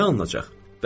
Nə alınacaq?